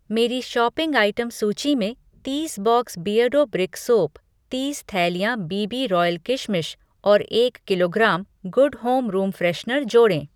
मेरी shopping item सूची में तीस बॉक्स बिअर्डो ब्रिक सोप, तीस थैलियाँ बी बी रॉयल किशमिश और एक kilogram Good Home room freshener जोड़ें।